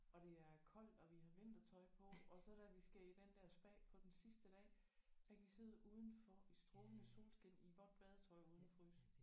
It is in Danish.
Og det er koldt og vi har vintertøj på og så da vi skal i den der spa på den sidste dag der kan vi sidde udenfor i strålende solskin i vådt badetøj uden at fryse